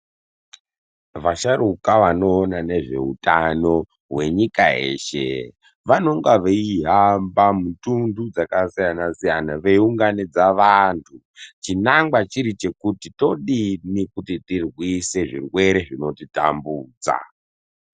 Vasharuka vanoona nezveutano hwenyika yeshe vanenge veihamba mitunhu dzakasiyana siyana veiunganidza vanhu chinangwa chiri chekuti todini kuti tirwise zvirwere zvinotitambudza.